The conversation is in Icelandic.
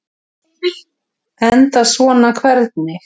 Enda svona hvernig?